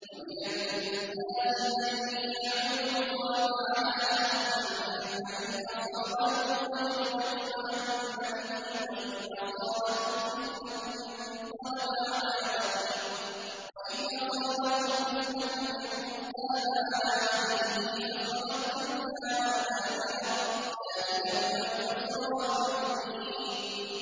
وَمِنَ النَّاسِ مَن يَعْبُدُ اللَّهَ عَلَىٰ حَرْفٍ ۖ فَإِنْ أَصَابَهُ خَيْرٌ اطْمَأَنَّ بِهِ ۖ وَإِنْ أَصَابَتْهُ فِتْنَةٌ انقَلَبَ عَلَىٰ وَجْهِهِ خَسِرَ الدُّنْيَا وَالْآخِرَةَ ۚ ذَٰلِكَ هُوَ الْخُسْرَانُ الْمُبِينُ